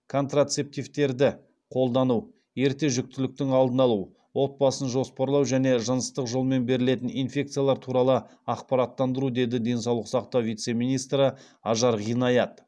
контрацептивтерді қолдану ерте жүктіліктің алдын алу отбасын жоспарлау және жыныстық жолмен берілетін инфекциялар туралы ақпараттандыру деді денсаулық сақтау вице министрі ажар ғинаят